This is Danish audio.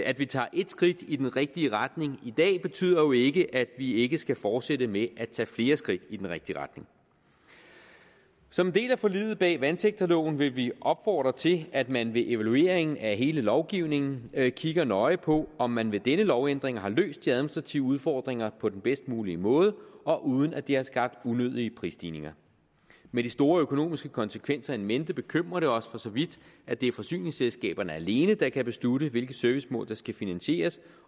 at vi tager et skridt i den rigtige retning i dag betyder jo ikke at vi ikke skal fortsætte med at tage flere skridt i den rigtige retning som en del af forliget bag vandsektorloven vil vi opfordre til at man ved evalueringen af hele lovgivningen kigger nøje på om man ved denne lovændring har løst de administrative udfordringer på den bedst mulige måde og uden at det har skabt unødige prisstigninger med de store økonomiske konsekvenser in mente bekymrer det os for så vidt at det er forsyningsselskaberne alene der kan beslutte hvilke servicemål der skal finansieres